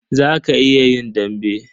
Za ka iya yin dambe?